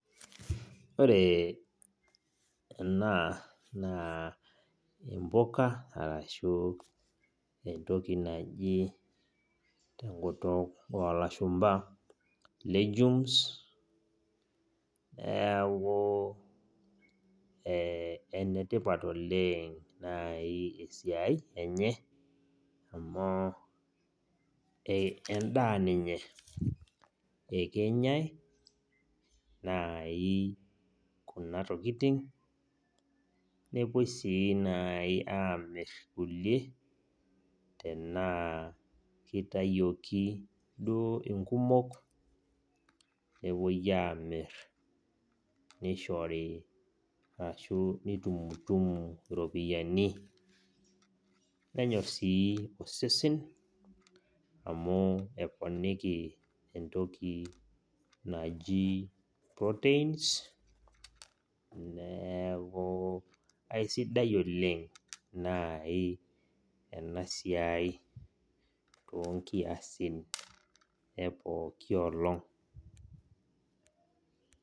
Ore ena naa imbuka arashu entoki naji tenkut oo lashumba legumes, neeku ee enetipat oleng' naai esiai enye amu, entaa ninye ekenyai naai kuna tokitin nepoi sii aamir kulie tenaa kitayioki inkumok, nepoi amir arashu nitumutumu naai iropiyiani. Nenyor sii osesen amu eponiki entoki proteins neeku aisidai oleng' naai ena siai toonkiasin epooki olong'.